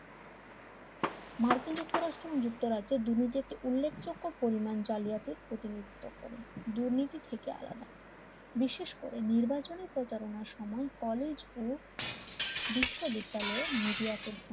মার্কিন যুক্তরাষ্ট্রের যুক্তরাজ্যে দুর্নীতি একটি উল্লেখযোগ্য পরিমাণ জালিয়াতির প্রতিনিধিত্ব করে দুর্নীতি থেকে আলাদা বিশেষ করে নির্বাচনী প্রচারণার সময় কলেজ ও বিশ্ববিদ্যালয় মিডিয়াকে